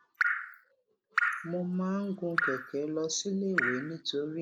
mo máa ń gun kèké lọ síléèwé nítorí